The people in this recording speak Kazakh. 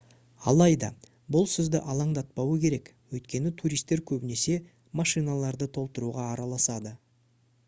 алайда бұл сізді алаңдатпауы керек өйткені туристер көбінесе машиналарды толтыруға араласады